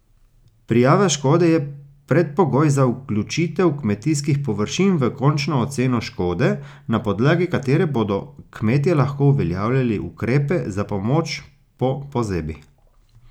Prijava škode je predpogoj za vključitev kmetijskih površin v končno oceno škode, na podlagi katere bodo kmetje lahko uveljavljali ukrepe za pomoč po pozebi.